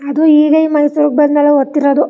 ಅದು ಇಗಯ್ ಮೈಸೂರ್ ಗೆ ಬಂದ್ ಮೇಲೆ ಹತ್ತಿರೋದು.